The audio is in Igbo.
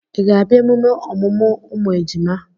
Ị ga-abịa emume ọmụmụ ụmụ ejima?